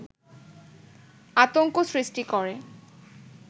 আতংক সৃষ্টি করে